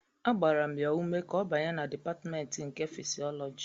Agbara m ya ume ka ọ banye na Dipatmentị nke Fịsịọlọji